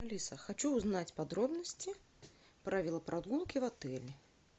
алиса хочу узнать подробности про велопрогулки в отеле